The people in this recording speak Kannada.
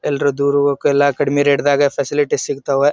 ಎಲ್ರು ದೂರ್ ಹೊಕ್ಲ ಕಡ್ಮಿ ರೇಟ್ ದಗ್ ಸ್ಪೇಸಿಯಲಿಟಿ ಸಿಗತ್ವ್.